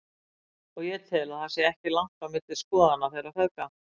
Og ég tel að það sé ekki langt á milli skoðana þeirra feðga.